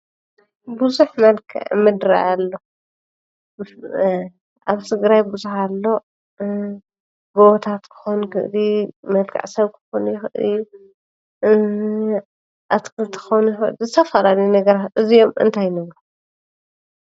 ብዙሕ መልክዕ ምድሪ አሎ፡፡ አብ ትግራይ ብዙሕ አሎ፡፡ ጎቦታት ክኾን ይክእል እዩ፡፡ መልክዕ ሰብ ክኾን ይክእል እዩ፡፡ እእእ...አትክልቲ ክኾን ይክእል እዩ፡፡ ዝተፈላለዩ ነገራት እዚኦም እንታይ እዮም?